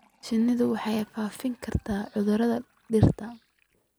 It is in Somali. Shinnidu waxay faafin kartaa cudurrada dhirta.